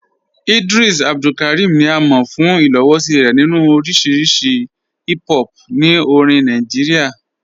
Ìdrìs Abdulkárímì ni à mọ̀ fún ìlòwòṣí rẹ̀ nínu oríṣì hìp hòp ní orìn Nàìjíríà.